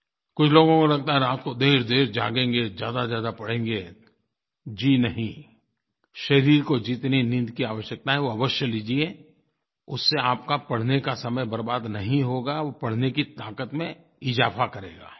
कुछ लोगों को लगता है रात को देरदेर जागेंगे ज़्यादाज़्यादा पढ़ेंगे जी नहीं शरीर को जितनी नींद की आवश्यकता है वो अवश्य लीजिए उससे आपका पढ़ने का समय बर्बाद नहीं होगा वो पढ़ने की ताक़त में इज़ाफ़ा करेगा